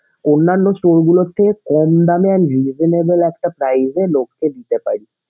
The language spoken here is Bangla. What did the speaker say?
অন্যান্য store গুলোর চেয়ে কম দামে and reasonable একটা price লোককে দিতে পারি।